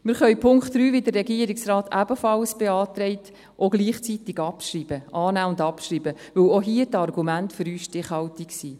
Wir können den Punkt 3, wie es der Regierungsrat ebenfalls beantragt, annehmen und abschreiben, weil auch hier die Argumente für uns stichhaltig sind.